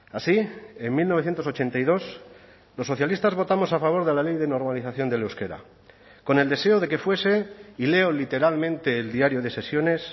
así en mil novecientos ochenta y dos los socialistas votamos a favor de la ley de normalización del euskera con el deseo de que fuese y leo literalmente el diario de sesiones